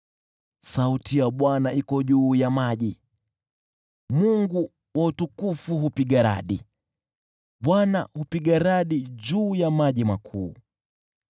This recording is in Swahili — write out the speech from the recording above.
Sauti ya Bwana iko juu ya maji; Mungu wa utukufu hupiga radi, Bwana hupiga radi juu ya maji makuu.